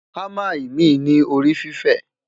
hamá imi ní orí fifẹ